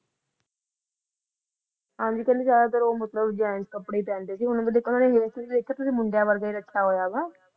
ਹਾਂਜੀ ਕਹਿੰਦੇ ਜ਼ਿਆਦਾਤਰ ਉਹ ਮਤਲਬ gents ਕੱਪੜੇ ਹੀ ਪਹਿਣਦੇ ਸੀ ਉਹਨਾਂ ਦਾ hair style ਵੀ ਤੁਸੀ ਦੇਖਿਆ ਮੁੰਡਿਆਂ ਵਰਗਾ ਹੀ ਰੱਖਿਆ ਹੋਇਆ ਵਾ